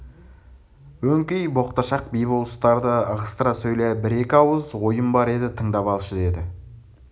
өңкей боқташақ би-болыстарды ығыстыра сөйле бір-екі ауыз ойым бар еді тыңдап алшы деді